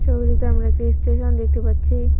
ছবিটিতে আমরা একটা স্টেশন দেখতে পাচ্ছি।